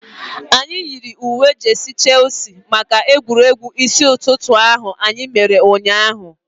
Anyị yiri uwe jeesi maka egwuregwu isi ụtụtụ ahu anyị mere ụnyaahụ